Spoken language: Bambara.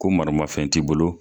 Ko mara mafɛn t'i bolo